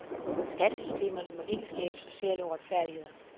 Skattesystemerne må ikke skabe sociale uretfærdigheder.